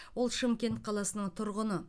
ол шымкент қаласының тұрғыны